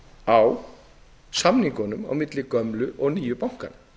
á samningunum milli gömlu og nýju bankanna